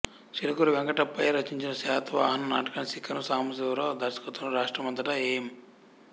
చిలకూరి వెంకటప్పయ్య రచించిన శాతవాహన నాటకాన్ని శిఖరం సాంబశివరావు దర్శకత్వంలో రాష్ట్రమంతటా ఎం